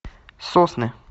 сосны